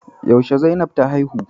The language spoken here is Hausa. Yaushe Zainab ta haihu?